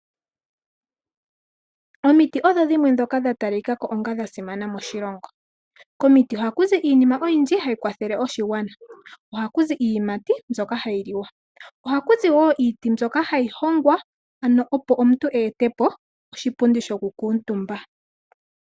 Omiti odho dhimwe dhoka dha talikako onga dhasimana moshilongo. Komiti oha kuzi iinima oyindji hayi kwathele oshigwana. Oha kuzi iiyimati mbyoka hai liwa . Oha kuzi wo iiti mbyoka hayi hongwa opo omuntu etepo oshipundi shoku kuutumba.